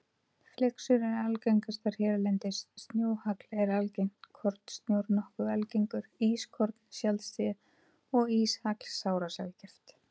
Flyksur eru algengastar hérlendis, snjóhagl er algengt, kornsnjór nokkuð algengur, ískorn sjaldséð og íshagl sárasjaldgæft.